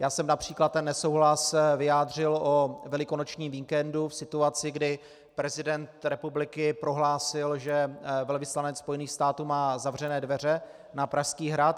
Já jsem například ten nesouhlas vyjádřil o velikonočním víkendu v situaci, kdy prezident republiky prohlásil, že velvyslanec Spojených států má zavřené dveře na Pražský hrad.